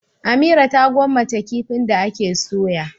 Amira ta gwammace kifin da ake soya.